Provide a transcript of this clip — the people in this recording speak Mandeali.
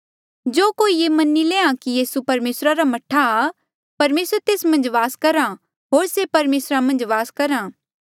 जो कोई ये मनी लैंहां कि यीसू परमेसरा रा मह्ठा आ परमेसर तेस मन्झ वास करहा ऐें होर से परमेसरा मन्झ वास करहा